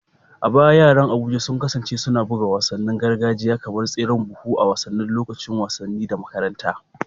A baya yaran Abuja sun kasance suna buga wasannin gargajiya kamar tseren buhu a wasannin lokacin wasanni na makaranta